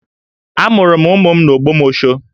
Amụrụ m ụmụ m n'Ogbomosho